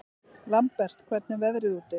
Lambert, hvernig er veðrið úti?